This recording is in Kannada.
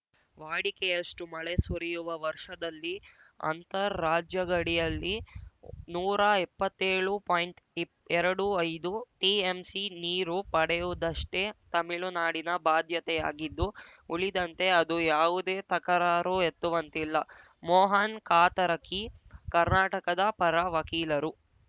ವಾಡಿಕೆಯಷ್ಟುಮಳೆ ಸುರಿಯುವ ವರ್ಷದಲ್ಲಿ ಅಂತರ್‌ ರಾಜ್ಯ ಗಡಿಯಲ್ಲಿ ನೂರಾ ಎಪ್ಪತ್ತೇಳು ಪಾಯಿಂಟ್ಇಪ್ ಎರಡು ಐದು ಟಿಎಂಸಿ ನೀರು ಪಡೆಯುವುದಷ್ಟೇ ತಮಿಳುನಾಡಿನ ಬಾಧ್ಯತೆಯಾಗಿದ್ದು ಉಳಿದಂತೆ ಅದು ಯಾವುದೇ ತಕರಾರು ಎತ್ತುವಂತಿಲ್ಲ ಮೋಹನ್‌ ಕಾತರಕಿ ಕರ್ನಾಟಕದ ಪರ ವಕೀಲರು